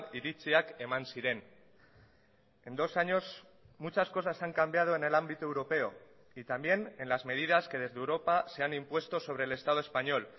iritziak eman ziren en dos años muchas cosas han cambiado en el ámbito europeo y también en las medidas que desde europa se han impuesto sobre el estado español